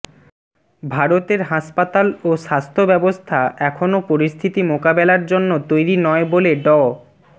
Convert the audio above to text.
ভারতের হাসপাতাল ও স্বাস্থ্য ব্যবস্থা এখনো পরিস্থিতি মোকাবেলার জন্য তৈরি নয় বলে ড